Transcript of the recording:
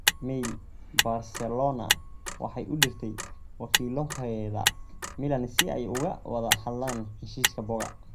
(Mail) Barcelona waxay u dirtay wakiiloheeda Milan si ay uga wada hadlaan heshiiska Boga.